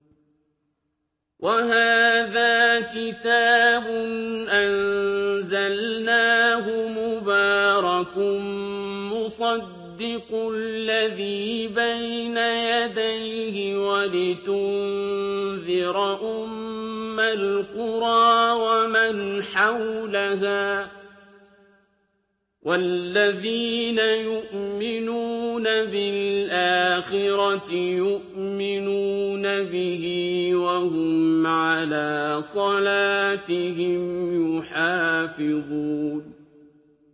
وَهَٰذَا كِتَابٌ أَنزَلْنَاهُ مُبَارَكٌ مُّصَدِّقُ الَّذِي بَيْنَ يَدَيْهِ وَلِتُنذِرَ أُمَّ الْقُرَىٰ وَمَنْ حَوْلَهَا ۚ وَالَّذِينَ يُؤْمِنُونَ بِالْآخِرَةِ يُؤْمِنُونَ بِهِ ۖ وَهُمْ عَلَىٰ صَلَاتِهِمْ يُحَافِظُونَ